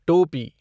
टोपी